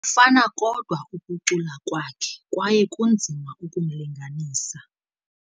Kufana kodwa ukucula kwakhe kwaye kunzima ukumlinganisa.